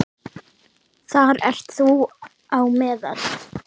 Þar ert þú á meðal.